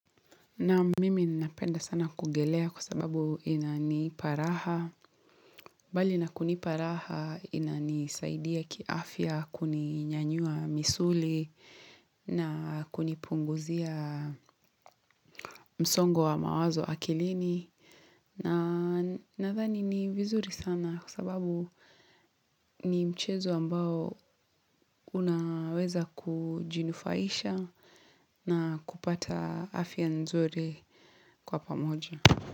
Naam mimi ninapenda sana kuogelea kwa sababu inanipa raha. Mbali na kunipa raha inanisaidia kiafya kuninyanyua misuli na kunipunguzia msongo wa mawazo akilini. Na nadhani ni vizuri sana kwa sababu ni mchezo ambao unaweza kujinufaisha na kupata afya nzuri kwa pamoja.